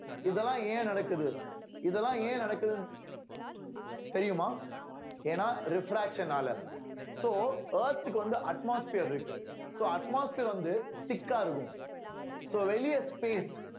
இதெல்லாம் ஏன் நடக்குது இதெல்லாம் ஏன் நடக்குது தெரியுமா ஏன்னா refraction ஆல so earth க்கு வந்து atmosphere இருக்கு so atmosphere வந்து thick இருக்கும் so வெளியே space